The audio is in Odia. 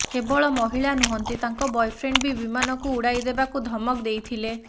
କେବଳ ମହିଳା ନୁହଁନ୍ତି ତାଙ୍କ ବୟଫ୍ରେଣ୍ଡ ବି ବିମାନକୁ ଉଡାଇ ଦେବାକୁ ଧମକ ଦେଇଥିଲେ